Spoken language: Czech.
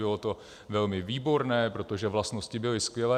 Bylo to velmi výborné, protože vlastnosti byly skvělé.